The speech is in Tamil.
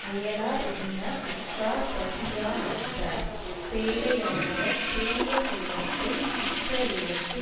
அயலார் உண்ண உற்றார் பசியாநிற்பர் பேதையானவன் பெரிய செல்வத்தை உற்றவிடத்து